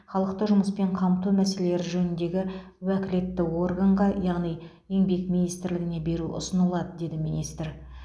халықты жұмыспен қамту мәселелері жөніндегі уәкілетті органға яғни еңбек министрлігіне беру ұсынылады деді министр